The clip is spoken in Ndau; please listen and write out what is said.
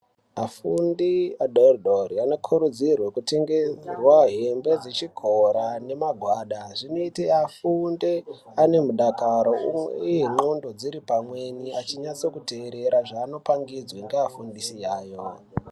Afundi adori dori vanokurudzirwa kutengerwa hembe dzechikora nemagwada zvinoita afunde ane mudakaro uye ndxondo dziri pamweni, achinyatsokuterera zvaanopangidzwa ngaafundisi yayo.